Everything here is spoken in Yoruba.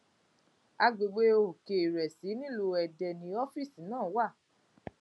àgbègbè òkèìrẹsì nílùú ẹdẹ ni ọfíìsì náà wà